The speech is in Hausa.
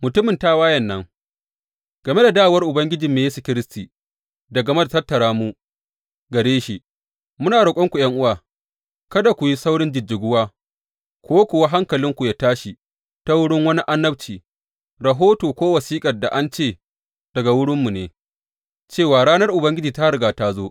Mutumin tawayen nan Game da dawowar Ubangijinmu Yesu Kiristi da game da tattara mu gare shi, muna roƙonku, ’yan’uwa, kada ku yi saurin jijjiguwa ko kuwa hankalinku yă tashi ta wurin wani annabci, rahoto ko wasiƙar da an ce daga wurinmu ne, cewa ranar Ubangiji ta riga ta zo.